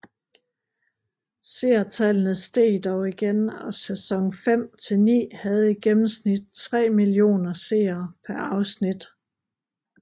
Seertallene steg dog igen og sæson fem til ni havde i gennemsnit tre millioner seere per afsnit